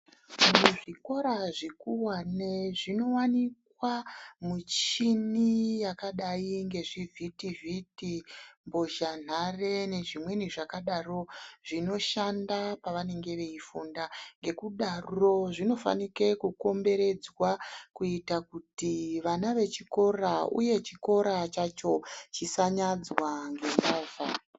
Muzvikora zvikuvane munovanikwa muchini yakadai ngezvivhiti-vhiti, mbozhanhare nezvimweni zvakadaro zvinoshanda pavanenge veifunda. Ngekudaro zvinofanike kukomberedzwa kuita kuti vana vechikora, uye chikora chacho chisanyadzwa ngemovha.